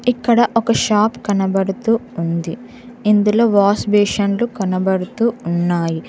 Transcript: ఇక్కడ ఒక షాప్ కనపడుతూ ఉంది ఇందులో వాష్ బేసిన్ లు కనపడుతూ ఉన్నాయి.